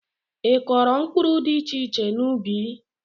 I kụkọro mkpụrụ dị iche iche n'ubi?